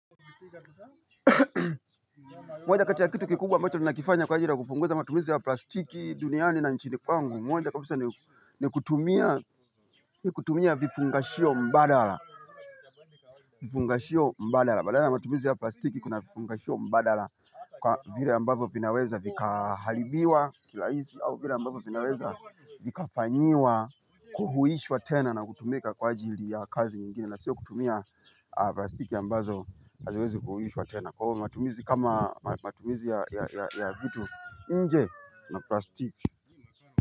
Moja kati ya kitu kikubwa ambacho ninakifanya kwa ajili ya kupunguza matumizi ya plastiki duniani na nchini kwangu, moja kabisa ni kutumia vifungashio mbadala. Vifungashio mbadala. sBadala ya matumizi ya plastiki kuna vifungashio mbadala. Kwa vile ambazo vinaweza vikaharibiwa kirahisi au vile ambavyo vinaweza vikafanyiwa kuhuhishwa tena na kutumika kwa ajili ya kazi ingini na sio kutumia plastiki ambazo haziwezi kuhuishwa tena. Kwa hiyo matumizi kama matumizi ya vitu nje na plastiki.